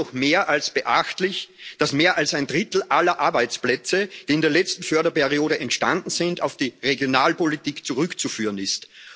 Es ist doch mehr als beachtlich, dass mehr als ein Drittel aller Arbeitsplätze, die in der letzten Förderperiode entstanden sind, auf die Regionalpolitik zurückzuführen ist.